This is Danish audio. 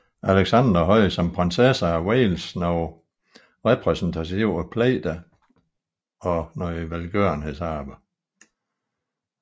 Alexandra havde som prinsesse af Wales flere repræsentative pligter og velgørenhedsarbejde